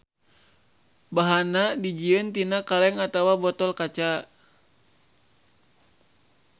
Bahanna dijieun tina kaleng atawa botol kaca.